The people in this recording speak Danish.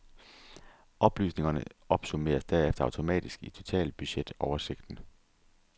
Oplysningerne opsummeres derefter automatisk i totalbudget oversigten.